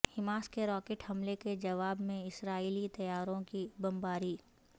Hamas کے rocket حملے کے جواب میں اسرائیلی طیاروں کی بمباری